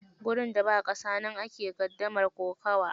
Gurin da ba ƙasa, nan ake gardamar kokawa.